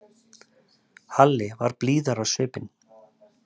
Halli varð blíðari á svipinn.